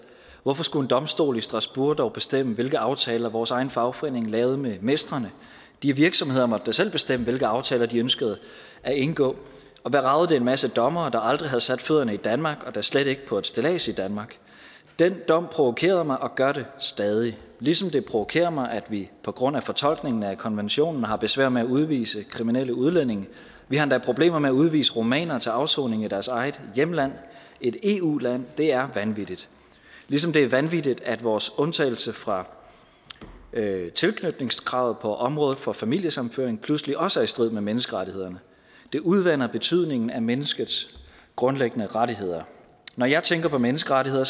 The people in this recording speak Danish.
hvorfor skulle en domstol i strasbourg dog bestemme hvilke aftaler vores egen fagforening lavede med mestrene de virksomheder måtte da selv bestemme hvilke aftaler de ønskede at indgå og hvad ragede det en masse dommere der aldrig havde sat fødderne i danmark og da slet ikke på et stillads i danmark den dom provokerede mig og gør den stadig ligesom det provokerer mig at vi på grund af fortolkningen af konventionen har besvær med at udvise kriminelle udlændinge vi har endda problemer med at udvise rumænere til afsoning i deres eget hjemland et eu land det er vanvittigt ligesom det er vanvittigt at vores undtagelse fra tilknytningskravet på området for familiesammenføring pludselig også er i strid med menneskerettighederne det udvander betydningen af menneskets grundlæggende rettigheder når jeg tænker på menneskerettigheder